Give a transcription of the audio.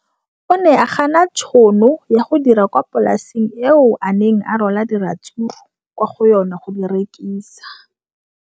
O ne a gana tšhono ya go dira kwa polaseng eo a neng rwala diratsuru kwa go yona go di rekisa.